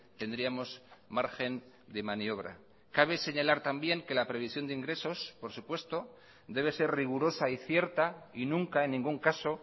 tendríamos margen de maniobra cabe señalar también que la previsión de ingresos por supuesto debe ser rigurosa y cierta y nunca en ningún caso